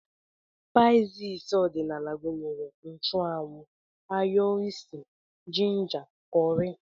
Spaịs ọdịnala gụnyere nchụanwụ, ayo usi, jinja, kọrị